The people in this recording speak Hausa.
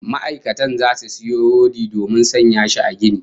Ma'aikatan zasu sayo rodi domin sanya shi a ginin